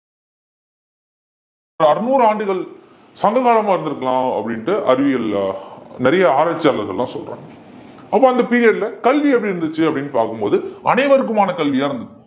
ஒரு அறுநூறு ஆண்டுகள் சங்க காலமா இருந்திருக்கலாம் அப்படின்னுட்டு அறிவியல் ஆஹ் நிறைய ஆராய்ச்சியாளர்கள் எல்லாம் சொல்றாங்க அப்ப அந்த period ல கல்வி எப்படி இருந்துச்சு அப்படின்னு பார்க்கும் போது அனைவருக்குமான கல்வியா இருந்தது